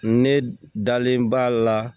Ne dalen b'a la